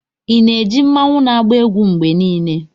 Ị na-eji mmanwu na-agba egwu mgbe niile?